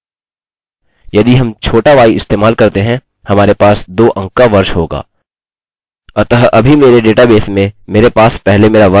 अतः अभी मेरे डेटाबेस में मेरे पास पहले मेरा वर्ष है फिर मेरा महीना और मेरा दिन और यह हाईफन से अलगअलग हैं